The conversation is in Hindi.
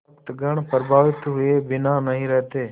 भक्तगण प्रभावित हुए बिना नहीं रहते